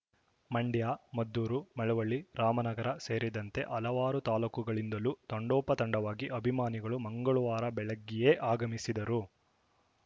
ಮಂಡ್ಯ ಮದ್ದೂರು ಮಳವಳ್ಳಿ ರಾಮನಗರ ಸೇರಿದಂತೆ ಹಲವಾರು ತಾಲೂಕುಗಳಿಂದಲೂ ತಂಡೋಪತಂಡವಾಗಿ ಅಭಿಮಾನಿಗಳು ಮಂಗಳವಾರ ಬೆಳಗ್ಗೆಯೇ ಆಗಮಿಸಿದ್ದರು